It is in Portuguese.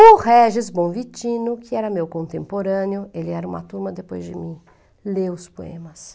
O Régis Bonvitino, que era meu contemporâneo, ele era uma turma depois de mim, leu os poemas.